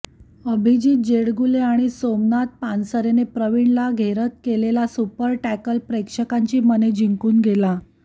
अभिजित जेडगुले आणि सोमनाथ पानसरेने प्रवीण ला घेरत केलेला सुपर टॅकल प्रेक्षकांची मने जिंकून गेला